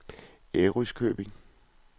Ærøskøbing